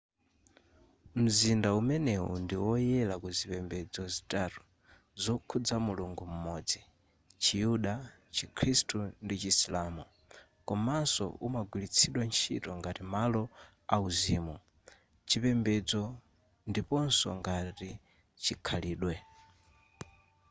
mzinda umenewu ndiwoyera kuzipembedzo zitatu zokhudza mulungu m'modzi chiyuda chikhristu ndi chisilamu komanso umagwiritsidwa nchito ngati malo auzimu chipembedzo ndiponso ngati chikhalidwe